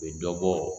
U bɛ dɔ bɔ